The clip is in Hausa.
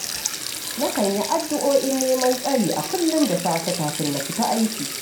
Nakan yi addu’o’in neman tsari a kullum da safe kafin na fita aiki